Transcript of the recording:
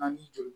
Ani juru